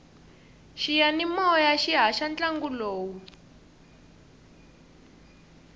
xiyanimoya xi haxa ntlangu lowu